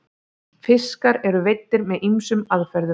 fiskar eru veiddir með ýmsum aðferðum